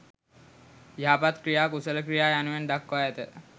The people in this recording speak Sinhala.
යහපත් ක්‍රියා කුසල ක්‍රියා යනුවෙන් දක්වා ඇත.